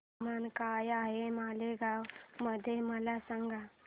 तापमान काय आहे मालेगाव मध्ये मला सांगा